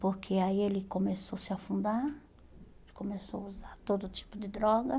Porque aí ele começou a se afundar, começou a usar todo tipo de droga.